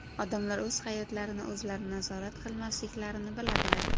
Odamlar o‘z hayotlarini o‘zlari nazorat qilmasliklarini biladilar.